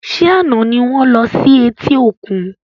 Ṣé àna ni wọn lọ sí eti òkun?